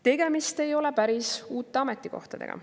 " Tegemist ei ole päris uute ametikohtadega.